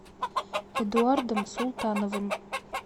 эдуардом султановым